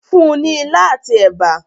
fún ní ila ati èbá.